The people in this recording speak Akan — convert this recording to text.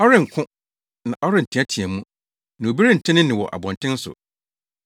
Ɔrenko, na ɔrenteɛteɛ mu. Na obi rente ne nne wɔ abɔnten so!